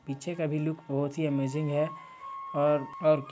पीछे का भी लुक बहोत ही अमजिंग हैं और और--